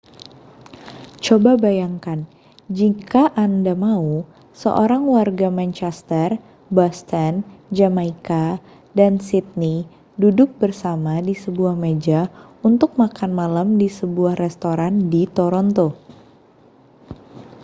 coba bayangkan jika anda mau seorang warga manchester boston jamaika dan sidney duduk bersama di sebuah meja untuk makan malam di sebuah restoran di toronto